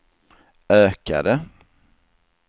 ökade